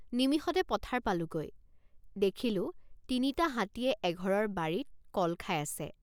নিমিষতে পথাৰ পালোগৈ দেখিলোঁ তিনিটা হাতীয়ে এঘৰৰ বাৰীত কল খাই আছে।